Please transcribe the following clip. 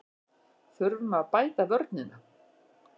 Þurfum að bæta vörnina